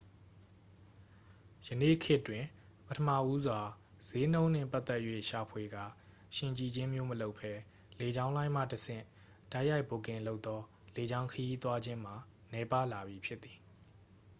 ယနေ့ခေတ်တွင် ပထမဦးစွာ စျေးနှုန်းနှင့်ပတ်သက်၍ ရှာဖွေကာ ယှဉ်ကြည့်ခြင်းမျိုးမလုပ်ဘဲ လေကြောင်းလိုင်းမှတဆင့် တိုက်ရိုက်ဘွတ်ကင်လုပ်သော လေကြောင်းခရီးသွားခြင်းမှာ နည်းပါးလာပြီ ဖြစ်သည်